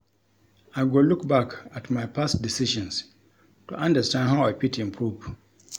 I go look back at my past decisions to understand how I fit improve.